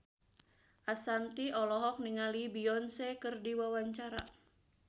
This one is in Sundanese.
Ashanti olohok ningali Beyonce keur diwawancara